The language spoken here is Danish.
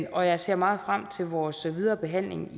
og jeg ser meget frem til vores videre behandling